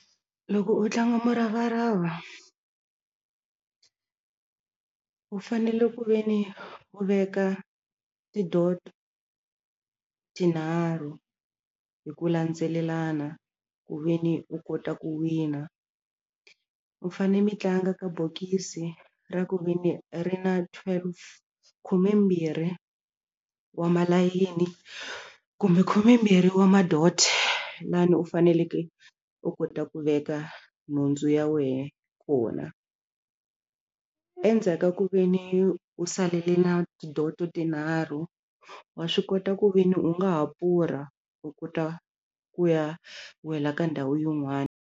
Loko u tlanga muravarava u fanele ku ve ni u veka ti-dot tinharhu hi ku landzelelana ku ve ni u kota ku wina u fane mi tlanga ka bokisi ra ku ve ni ri na twelve khumembirhi wa malayini kumbe khumembirhi wa ma-dot lani u faneleke u kota ku veka nhundzu ya wehe kona endzhaka ku ve ni u salele na ti-dot-o tinharhu wa swi kota ku ve ni u nga ha pfurha u kota ku ya wela ka ndhawu yin'wani.